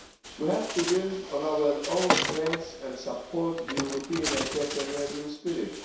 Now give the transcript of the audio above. We have to build on our own strengths and support the European entrepreneurial spirit.